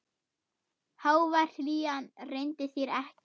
Hógvær hlýjan leyndi sér ekki.